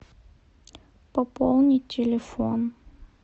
пополнить телефон